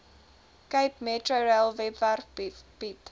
capemetrorail webwerf bied